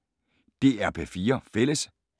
DR P4 Fælles